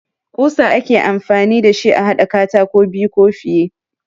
Ƙusa ake amfani da shi a haɗa katako biyu ko fiye.